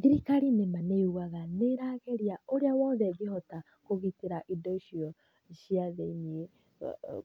Thirikari nĩma nĩ yugaga nĩ ĩrageria ũrĩa wothe ĩngĩhota kũgitĩra indo icio cia thĩiniĩ,